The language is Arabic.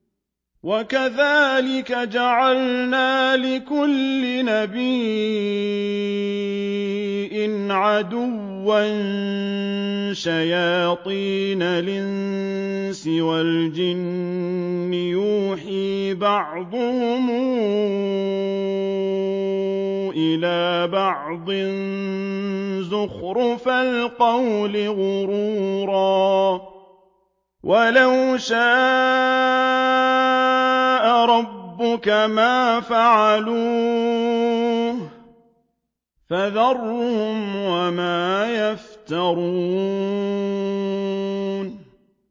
وَكَذَٰلِكَ جَعَلْنَا لِكُلِّ نَبِيٍّ عَدُوًّا شَيَاطِينَ الْإِنسِ وَالْجِنِّ يُوحِي بَعْضُهُمْ إِلَىٰ بَعْضٍ زُخْرُفَ الْقَوْلِ غُرُورًا ۚ وَلَوْ شَاءَ رَبُّكَ مَا فَعَلُوهُ ۖ فَذَرْهُمْ وَمَا يَفْتَرُونَ